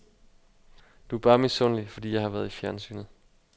Du er bare misundelig, fordi jeg har været i fjernsynet.